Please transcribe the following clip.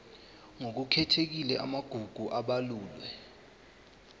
ngokukhethekile amagugu abalulwe